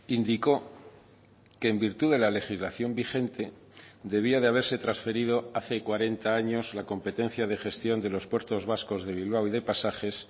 indico que en virtud de la legislación vigente debía de haberse transferido hace cuarenta años la competencia de gestión de los puertos vascos de bilbao y de pasajes